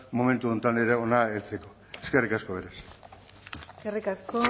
momentu honetan ere hona heltzeko eskerrik asko eskerrik asko